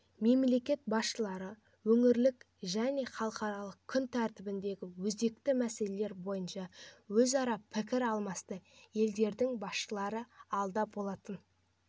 мемлекет басшылары өңірлікжәне халықаралық күн тәртібіндегі өзекті мәселелер бойынша өзара пікір алмасты елдердің басшылары алда болатын